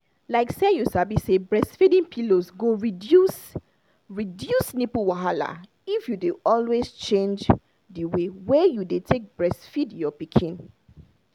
like you sabi say breastfeeding pillows go reduce reduce nipple wahala if you dey always change the way wey you dey take breastfeed your pikin